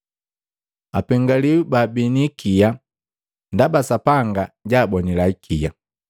Apengiwi baabii ni ikia, ndaba Sapanga jaabonila ikia.